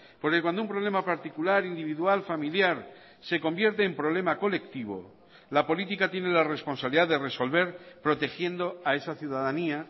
porque cuando un problema particular individual familiar se convierte en problema colectivo la política tiene la responsabilidad de resolver protegiendo a esa ciudadanía